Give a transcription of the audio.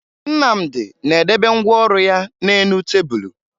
Nnamdị na-edebe ngwa ọrụ ya n'elu tebulu